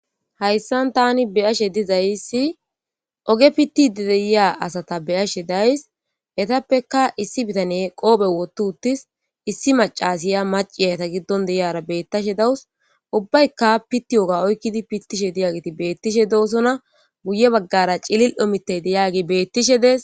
Haysan Tani beyashe dizaysi oge pitiya asata beyashe days, etappeka issi bitaneyi qope wothi utis, issi macashiya maciya eta giddon diyara betashe de'awusi, ubbayka pitiyoga oykidi pitishe diyageti betishe dosona , guye bagara cilil'o mitay diyagey beetishe Des.